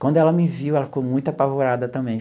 Quando ela me viu, ela ficou muito apavorada também.